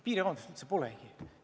Piirikaubandust üldse nagu polnudki.